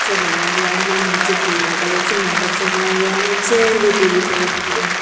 सजाया गया है नीचे पीला कलर से मंडप सजाया गया है चेयर भी ब्ल्यू कलर की है।